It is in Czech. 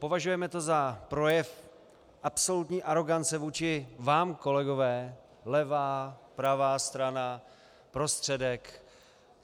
Považujeme to za projev absolutní arogance vůči vám, kolegové, levá, pravá strana, prostředek.